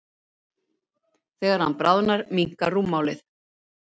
Þegar hann bráðnar minnkar rúmmálið.